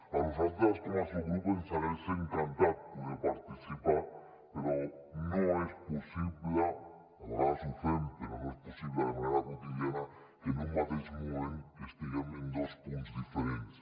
a nosaltres com a subgrup ens hagués encantat poder hi participar però no és possible a vegades ho fem però no és possible de manera quotidiana que en un mateix moment estiguem en dos punts diferents